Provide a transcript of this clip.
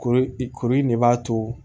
Kori koro in ne b'a to